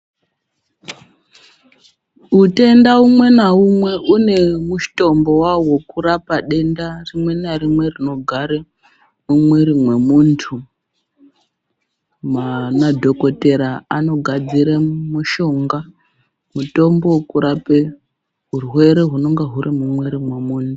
Wutenda umwe nawumwe une mutombo wawo wokurapa denda rimwe narimwe rinogare mumwiri momuntu. Madhokodhera anogadzira mushonga, mutombo wokurape wurwere wunonga wuri mumwiri momuntu.